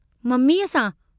ममीअ सां!